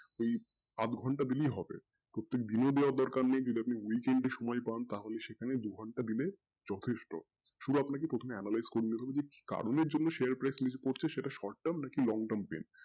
ওই আধ ঘন্টা দিলেই হবে প্রত্যেক দিন ই দেয়ার দরকার নেই যদি আপনি weekend এ সময় পান তো সেখানে দু ঘন্টা দিলে যথেষ্ট সুদু আপনাকে প্রথমে analyse করতে হবে যে কারণ এ জন্যে share price টার short term করছে সেটা long term নাকি plan